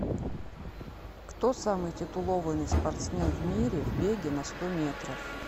кто самый титулованый спортсмен в мире в беге на сто метров